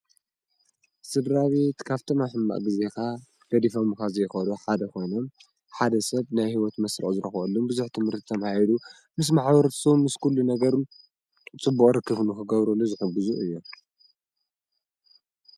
ስድራ ቤት ካብቶም ኣብ ሕማቕ ጊዜኻ ገዲፈሙኻ ዘይኸዱ ሓደ ኮይኑ ሓደ ሰብ ናይ ሂወት መስርዕ ዝረኽበሉ ቡዙሕ ት/ቲ ተማሂሩ ምስ ማሕበረሰቡ ምስ ኩሉነገሩ ፅቡቕ ርክብ ንኽገብሩሉ ዝሕግዙ እዮም፡፡